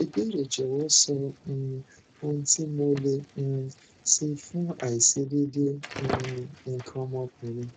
ìbéèrè jọwọ sọ um ohun tí mo lè um ṣe fún aiṣedeede um ikan ọmọkunrin